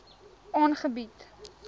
aangebied